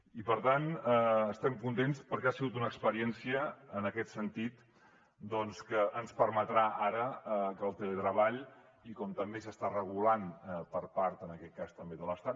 i per tant estem contents perquè ha sigut una experiència en aquest sentit doncs que ens permetrà ara que el teletreball com també s’està regulant per part en aquest cas també de l’estat